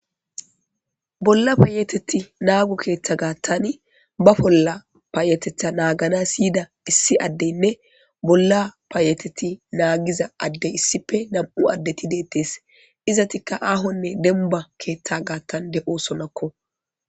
Bolla paayeteti naagu keeththa gaattan ba bolla paayetetha naagana syiyida issi addeynne bolla paayeteti naagiza addey issife nam7u addeti deettees izatikka aahonne denba keeththa gaattan de7o sonakko